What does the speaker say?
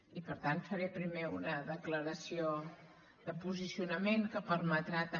i per tant faré primer una declaració de posicionament que permetrà també